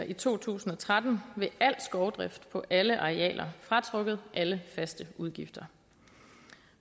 i to tusind og tretten ved al skovdrift på alle arealer fratrukket alle faste udgifter